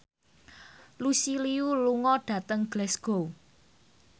Lucy Liu lunga dhateng Glasgow